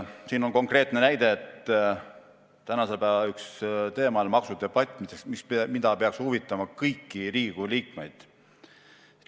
Siin on konkreetne näide: tänase päeva üks teema on maksudebatt, mis peaks huvitama kõiki Riigikogu liikmeid.